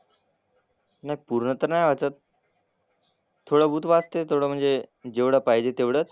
नाही पूर्ण तर नाही वाचत. थोडंबहुत वाचते. थोडं म्हणजे जेवढं पाहिजे तेवढंच.